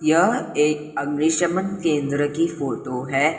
यह एक अग्निशमन केंद्र की फोटो है।